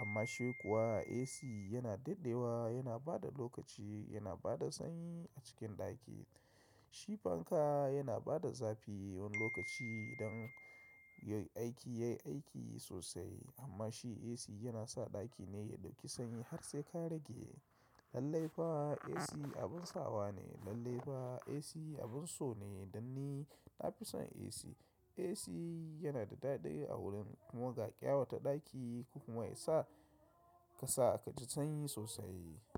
Amma shi kuwa AC yana daɗewa yana bada lokaci, yana bada sanyi a cikin ɗaki. Shi fanka yana bada zafi wani lokaci idan ya yi aiki, yayi aiki sosai. Amma shi AC yana sa ɗaki ne ya ɗauki sanyi har sai ka rage. Lallai fa AC abin sawa ne. Lallai fa AC abin so ne, dan ni na fi son AC. AC yana da daɗi a wurin kuma ga ƙyawata ɗaki kuma ya sa ka sa ka ji sanyi sosai.